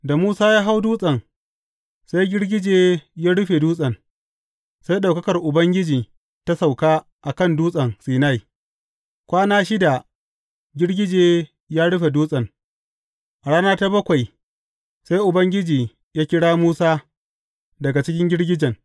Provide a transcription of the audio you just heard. Da Musa ya hau dutsen, sai girgije ya rufe dutsen, sai ɗaukakar Ubangiji ta sauka a kan Dutsen Sinai, kwana shida girgije ya rufe dutsen, a rana ta bakwai, sai Ubangiji ya kira Musa daga cikin girgijen.